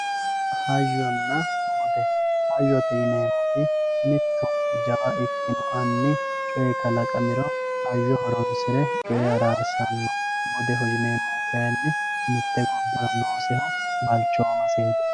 hayyonna bude hayyote yineemmoti mitto jawa ikkino anni coy kalaqamiro hayyo horoonsire coyee arrasanno. budeho yineemmohu kayni mitte gobbara noosseho balchoomaseeti